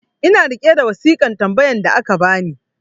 ina riƙe da wasikan tambayan da aka bani